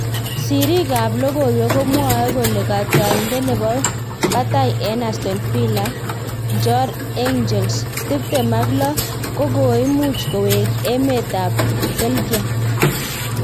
Siriik ab lokoiwek komwae kole katrayindet nebo batai en Aston Villa, Bjorn Engles , tiptem ak lo kokoimuch kowek emet ab Belgium